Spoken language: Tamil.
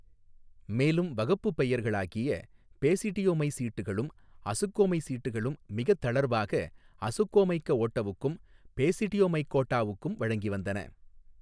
மேலும்வகப்புப் பெயர்களாகிய பேசிடியோமைசீட்டுகளும் அசுக்கோமைசீட்டுகளும் மிகத் தளர்வாக அசுக்கோமைக்கஓட்டவுக்கும் பேசிடியோமைக்கோட்டாவுக்கும் வழங்கி வந்தன.